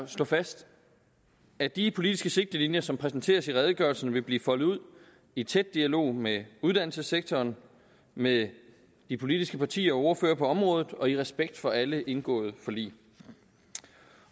slå fast at de politiske sigtelinjer som præsenteres i redegørelsen vil blive foldet ud i tæt dialog med uddannelsessektoren med de politiske partier og ordførere på området og i respekt for alle indgåede forlig